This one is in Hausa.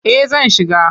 Eh zan shiga.